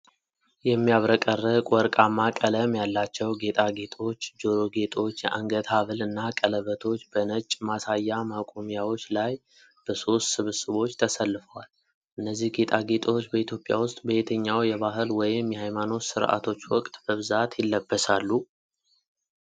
የሚያብረቀርቅ ወርቃማ ቀለም ያላቸው ጌጣጌጦች፣ ጆሮ ጌጦች፣ የአንገት ሐብል እና ቀለበቶች፣ በነጭ ማሳያ ማቆሚያዎች ላይ በሦስት ስብስቦች ተሰልፈዋል። እነዚህ ጌጣጌጦች በኢትዮጵያ ውስጥ በየትኛው የባህል ወይም የሃይማኖት ሥርዓቶች ወቅት በብዛት ይለበሳሉ?